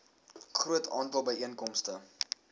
groot aantal byeenkomste